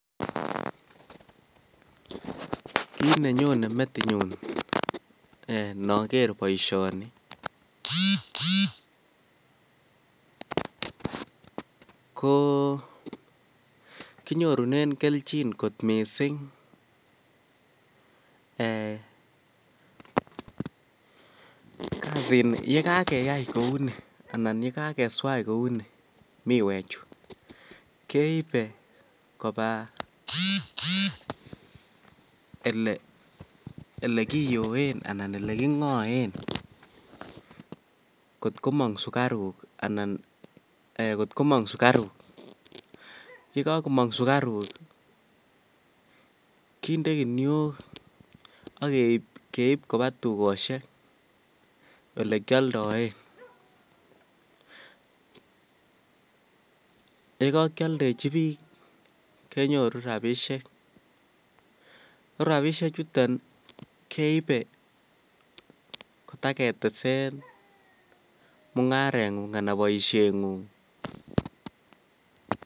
Kiit nenyone metinyun inoker boishoni ko kinyorunen kelchin kot mising eeh kasini yekakeyai kouni anan yekakeswaj kouni miwechu keibe kobaa elekiyoen alaan eleking'oen kot komong sukaruk anan kot komong sukaruk, yekokomong sukaruk kinde kinuok ak keib kobaa tukoshek olekioldoen, yekokioldechi biik kenyoru rabishek ko rabishe chuton keibe kotaketesen mung'arengung anan boishengung.